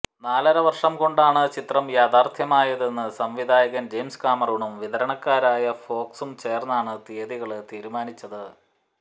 നാലര വര്ഷം കൊണ്ടാണ് ചിത്രം യാഥാര്ഥ്യമായതെന്ന് സംവിധായകന് ജെയിംസ് കാമറൂണും വിതരണക്കാരായ ഫോക്സും ചേര്ന്നാണ് തിയതികള് തീരുമാനിച്ചത്